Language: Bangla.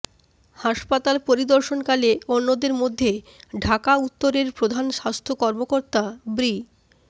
হাসপাতাল পরিদর্শনকালে অন্যদের মধ্যে ঢাকা উত্তরের প্রধান স্বাস্থ্য কর্মকর্তা ব্রি